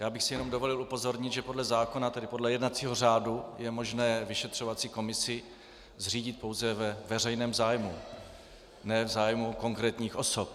Já bych si jen dovolil upozornit, že podle zákona, tedy podle jednacího řádu, je možné vyšetřovací komisi zřídit pouze ve veřejném zájmu, ne v zájmu konkrétních osob.